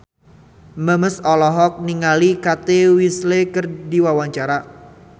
Memes olohok ningali Kate Winslet keur diwawancara